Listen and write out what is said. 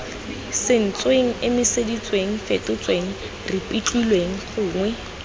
sentsweng emiseditsweng fetotsweng ripitlilweng gongwe